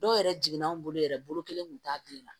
Dɔw yɛrɛ jiginna anw bolo yɛrɛ bolo kelen kun t'a bilen na